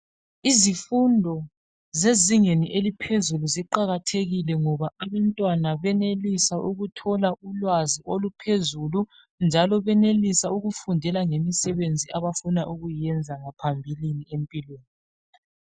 Izifundo zezingeni eliphezulu ziqakathekile ngoba abantwana bayenelisa ukuthola ulwazi oluphezulu njalo benelisa ukufundela ngemisebenzi abafuna ukuyiyenza ngaphambilini empilweni.